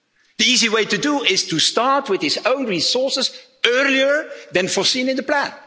do! The easy way to do it is to start with its own resources earlier than foreseen in the plan.